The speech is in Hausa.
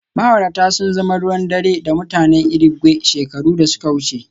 Ma'aurata sun zama ruwan dare da mutanen Irigwe shekaru da suka wuce